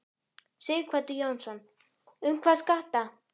Sighvatur Jónsson: Hvað um skatta?